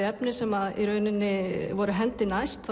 efni sem voru hendi næst